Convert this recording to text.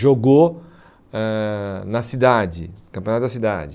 jogou eh na cidade, no campeonato da cidade.